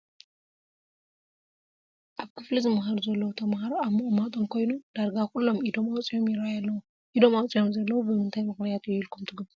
ኣብ ክፍሊ ዝመሃሩ ዘለዉ ተመሃሮ ኣብ ምቕማጦም ኮይኖም ዳርጋ ኩሎም ኢዶም ኣውፂኦም ይርአዩ ኣለዉ፡፡ ኢዶም ኣውፂኦም ዘለዉ ብምንታይ ምኽንያት እዩ ኢልኩም ትግምቱ?